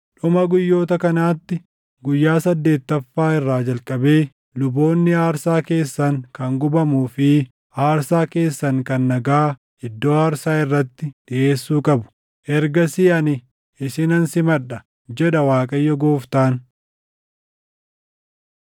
Dhuma guyyoota kanaatti, guyyaa saddeettaffaa irraa jalqabee luboonni aarsaa keessan kan gubamuu fi aarsaa keessan kan nagaa iddoo aarsaa irratti dhiʼeessuu qabu. Ergasii ani isinan simadha, jedha Waaqayyo Gooftaan.”